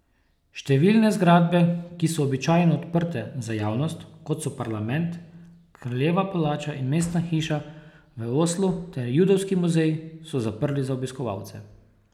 Številne zgradbe, ki so običajno odprte za javnost, kot so parlament, kraljeva palača in mestna hiša v Oslu ter judovski muzeji, so zaprli za obiskovalce.